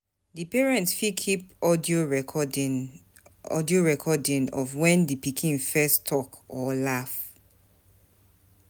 Di parent fit keep audio recording audio recording of when di pikin first talk or laugh